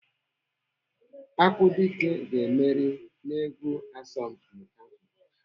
Akwụdike ga-emeri n'egwu asọmpi ahụ.